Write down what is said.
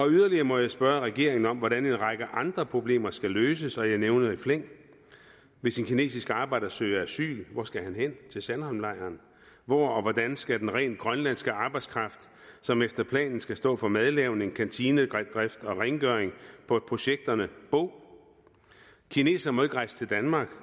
yderligere må jeg spørge regeringen om hvordan en række andre problemer skal løses og jeg nævner i flæng hvis en kinesisk arbejder søger asyl hvor skal han så hen til sandholmlejren hvor og hvordan skal den rent grønlandske arbejdskraft som efter planen skal stå for madlavning kantinedrift og rengøring på projekterne bo kinesere må ikke rejse til danmark